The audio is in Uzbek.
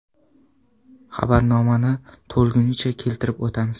Xabarnomani to‘lig‘icha keltirib o‘tamiz.